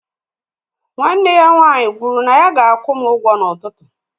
Nwanne ya nwaanyị kwụrụ na ya ga-akwụ m ụgwọ n'ụtụtụ